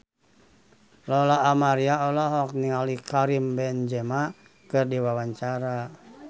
Lola Amaria olohok ningali Karim Benzema keur diwawancara